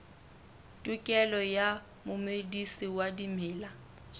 tokelo ya momedisi wa dimela